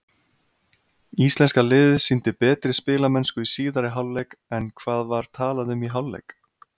Íslenska liðið sýndi betri spilamennsku í síðari hálfleik en hvað var talað um í hálfleik?